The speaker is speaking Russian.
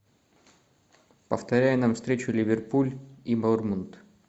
повторяй нам встречу ливерпуль и борнмут